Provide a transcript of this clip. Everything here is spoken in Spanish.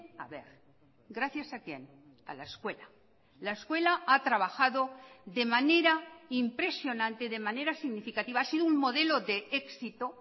a ver gracias a quién a la escuela la escuela ha trabajado de manera impresionante de manera significativa ha sido un modelo de éxito